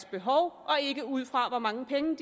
behov og ikke ud fra hvor mange penge